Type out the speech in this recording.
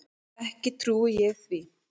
Ekki trúi ég því.